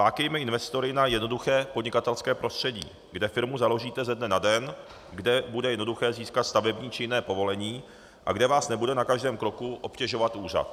Lákejme investory na jednoduché podnikatelské prostředí, kde firmu založíte ze dne na den, kde bude jednoduché získat stavební či jiné povolení a kde vás nebude na každém kroku obtěžovat úřad.